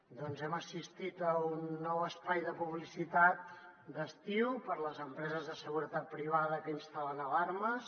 doncs hem assistit a un nou espai de publicitat d’estiu per a les empreses de seguretat privada que instal·len alarmes